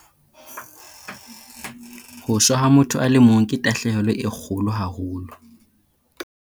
Ho shwa ha motho a le mong ke tahlehelo e kgolo haholo.